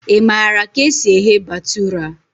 Ị maara ka esi eghe bhatura?